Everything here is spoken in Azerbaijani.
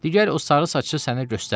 Get o sarısaçlı sənə göstərim.